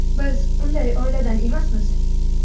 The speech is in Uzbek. Biz unday oiladan emasmiz.